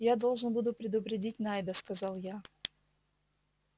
я должен буду предупредить найда сказал я